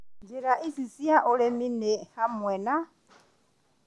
Njĩra ici cia ũrĩmi nĩ hamwe na